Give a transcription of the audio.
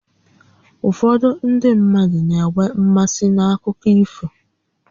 Ụfọdụ ndị mmadụ na-enwe mmasị n'akụkọ ifo